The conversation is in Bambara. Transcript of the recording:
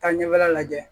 Taa ɲɛfɔla lajɛ